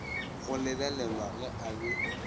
go lebelelwa ge a be